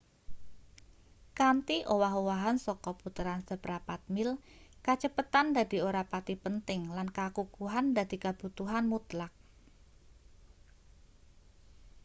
kanthi owah-owahan saka puteran seprapat mil kacepetan dadi ora pati penting lan kakukuhan dadi kabutuhan mutlak